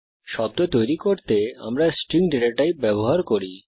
শব্দ তৈরী করতে আমরা স্ট্রিং ডেটা টাইপ ব্যবহার করি